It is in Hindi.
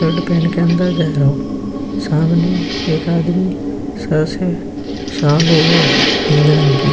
शर्ट पहन के अंदर जाय रहो। सामने एक आदमी सर से शाल ओढ़ो है नीले रंग की।